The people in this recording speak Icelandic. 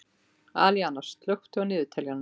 Alíana, slökktu á niðurteljaranum.